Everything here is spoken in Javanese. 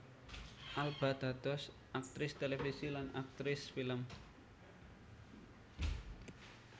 Alba dados aktris télévisi lan aktris film